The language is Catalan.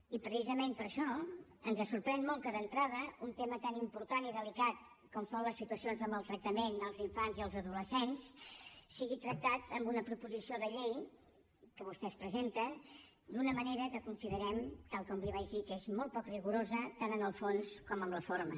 i precisament per això ens sorprèn molt que d’entrada un tema tan important i delicat com són les situacions de maltractament als infants i els adolescents sigui tractat amb una proposició de llei que vostès presenten d’una manera que considerem tal com li vaig dir que és molt poc rigorosa tant en el fons com en la forma